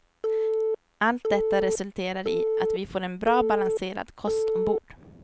Allt detta resulterar i att vi får en bra balanserad kost ombord.